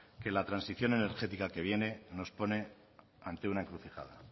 que la transición energética que viene nos pone ante una encrucijada